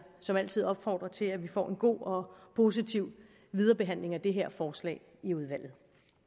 som altid opfordre til at vi får en god og positiv viderebehandling af det her forslag i udvalget